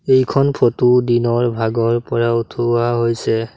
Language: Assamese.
এইখন ফটো দিনৰ ভাগৰ পৰা উঠোৱা হৈছে।